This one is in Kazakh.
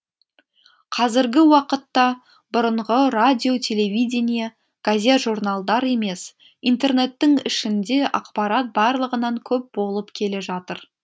қазіргі уақытта бұрынғы радио телевидение газет журналдар емес интернеттің ішінде ақпарат барлығынан көп болып келе жатыр